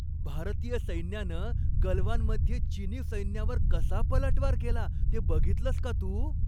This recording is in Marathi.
भारतीय सैन्यानं गलवानमध्ये चिनी सैन्यावर कसा पलटवार केला ते बघितलंस का तू?